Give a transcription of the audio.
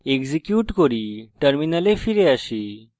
execute করি terminal ফিরে আসি